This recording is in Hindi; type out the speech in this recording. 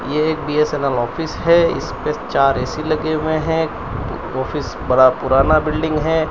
यह एक बी_एस_एन_एल ऑफिस है इस पर चार ए_सी लगे हुए हैं ऑफिस बड़ा पुराना बिल्डिंग है।